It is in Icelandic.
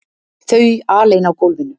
Þau alein á gólfinu!